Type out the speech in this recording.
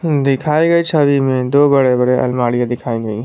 दिखाई गई छवि में दो बड़े बड़े अलमारियां दिखाई गईं हैं।